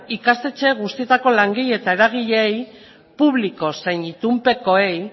ikastetxe guztietako langile eta eragileei publiko zein itunpekoei